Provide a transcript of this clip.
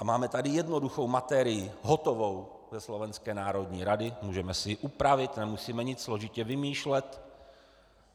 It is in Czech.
A máme tady jednoduchou materii, hotovou ze Slovenské národní rady, můžeme si ji upravit, nemusíme nic složitě vymýšlet.